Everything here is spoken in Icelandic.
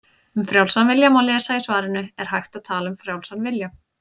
Um frjálsan vilja má lesa í svarinu Er hægt að tala um frjálsan vilja?